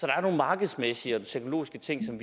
er nogle markedsmæssige og teknologiske ting som